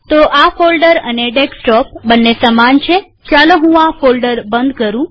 તો આ ફોલ્ડર અને ડેસ્કટોપ બંને સમાન છેચાલો હું આ ફોલ્ડર બંધ કરું